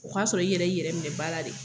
O k'a sɔrɔ i yɛrɛ y'i yɛrɛ minɛ ba la de.